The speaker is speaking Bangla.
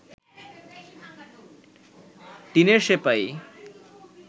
টিনের সেপাই